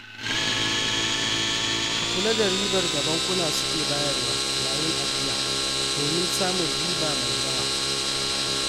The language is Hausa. Ka kula da ribar da bankuna su ke bayarwa yayin ajiya, don samun riba mai yawa.